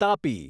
Tapi